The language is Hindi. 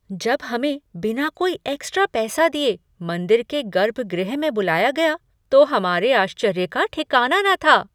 जब हमें बिना कोई एक्स्ट्रा पैसा दिए मंदिर के गर्भगृह में बुलाया गाया तो हमारे आश्चर्य का ठिकाना न था।